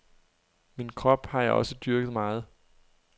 Min krop har jeg også dyrket meget.